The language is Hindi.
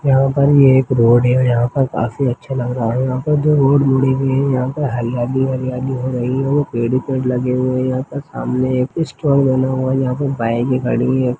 यहाँ पर ये एक रोड है यहाँ पर काफी अच्छा लग रहा है यहाँ पर दो रोड मुड़ी हुई है यहाँ पर हरियाली हरियाली हो रही है पेड़ पेड़ लगे हुए है यहाँ पर सामने एक स्टोन बना हुआ है यहाँ पर बाइके खड़ी है।